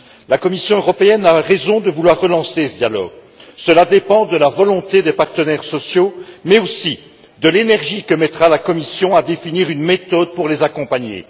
La Commission européenne a raison de vouloir relancer ce dialogue, qui dépend de la volonté des partenaires sociaux mais aussi de l'énergie qu'emploiera la Commission à définir une méthode pour les accompagner.